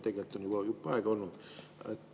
Tegelikult on see juba jupp aega olnud.